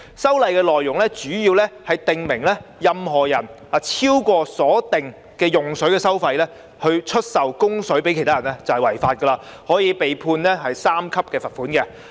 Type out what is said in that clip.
修例的內容，主要是訂明任何人如以超過所定的用水收費出售供水以供給他人，即屬違法，可被判處第3級罰款。